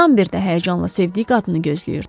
Rambert də həyəcanla sevdiyi qadını gözləyirdi.